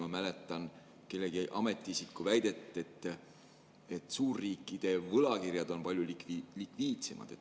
Ma mäletan kellegi ametiisiku väidet, et suurriikide võlakirjad on palju likviidsemad.